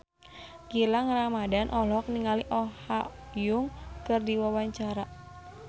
Gilang Ramadan olohok ningali Oh Ha Young keur diwawancara